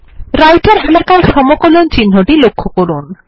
রাইটের এলাকায় সমকলন চিহ্নটি লক্ষ্য করুন